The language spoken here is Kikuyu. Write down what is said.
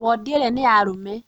Wondi ĩrĩa nĩya arũme